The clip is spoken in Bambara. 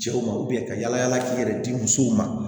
Cɛw ma ka yala yala k'i yɛrɛ di musow ma